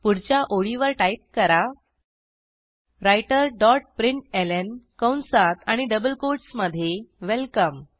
पुढच्या ओळीवर टाईप करा राइटर डॉट प्रिंटलं कंसात आणि डबल कोटसमधे वेलकम